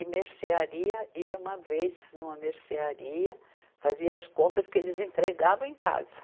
E mercearia, ia uma vez numa mercearia, fazia as compras que eles entregavam em casa.